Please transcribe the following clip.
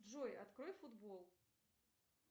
джой открой футбол